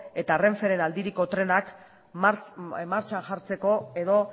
eta renferen aldiriko trenak martxan jartzeko edo